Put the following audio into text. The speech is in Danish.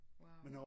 Wow